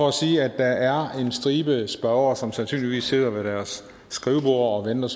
at sige at der er en stribe spørgere som sandsynligvis sidder ved deres skriveborde og venter